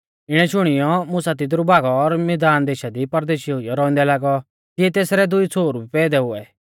इणै शुणियौ मुसा तिदरु भागौ और मिधान देशा दी परदेशी हुइयौ रौउंदै लागौ तिऐ तेसरै दुई छ़ोहरु भी पैदै हुऐ